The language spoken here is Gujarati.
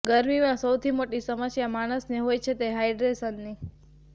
ગરમીમાં સૌથી મોટી સમસ્યા માણસને હોય છે તે છે હાઇડ્રેશનની